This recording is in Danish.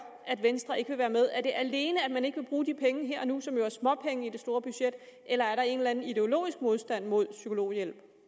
at venstre ikke vil være med er det alene at man ikke vil bruge de penge her og nu som jo er småpenge i det store budget eller er der en eller anden ideologisk modstand mod psykologhjælp